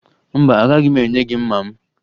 Mba, agaghị m enye gị mma m